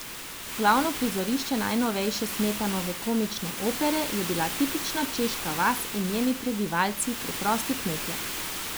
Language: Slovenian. Glavno prizorišče najnovejše Smetanove komične opere je bila tipična češka vas in njeni prebivalci, preprosti kmetje.